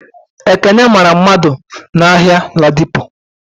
Ekeke mara mmadu n'Ahia Ladipo